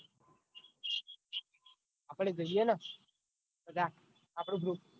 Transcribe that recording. આપડ જઈએ ને બધા આપણું group